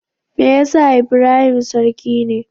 Me yasa Ibrahim sarki ne?